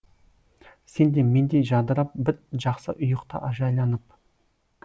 сен де мендей жадырап бір жақсы ұйықта жайланып